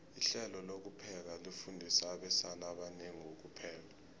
ihlelo lokupheka lifundisa abesana abanengi ukupheka